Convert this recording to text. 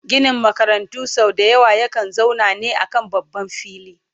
Ginin makarantu sau dayawa ya kan zauna ne a kan babban fili